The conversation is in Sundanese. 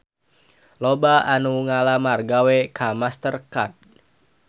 Loba anu ngalamar gawe ka Master Card